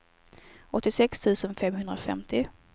åttiosex tusen femhundrafemtio